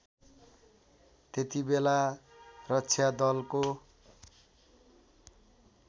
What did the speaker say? त्यतिबेला रक्षा दलको